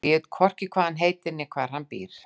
Og ég veit hvorki hvað hann heitir né hvar hann býr.